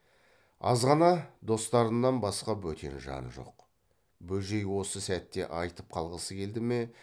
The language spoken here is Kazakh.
азғана достарынан басқа бөтен жан жоқ бөжей осы сәтте айтып қалғысы келді ме